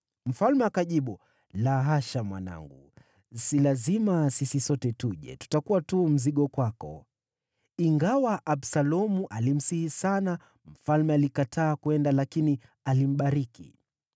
Mfalme akajibu, “La hasha, mwanangu si lazima sisi sote tuje, tutakuwa tu mzigo kwako.” Ingawa Absalomu alimsihi sana, mfalme alikataa kwenda, lakini alimbariki.